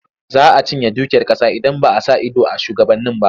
Za a cinye dukiyar ƙasa idan ba a sa ido a shugabanni ba.